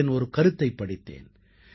அவர்களின் ஒரு கருத்தைப் படித்தேன்